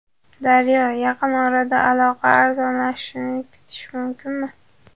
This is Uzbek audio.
Daryo: Yaqin orada aloqa arzonlashishini kutish mumkinmi?